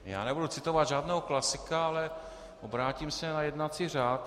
Já nebudu citovat žádného klasika, ale obrátím se na jednací řád.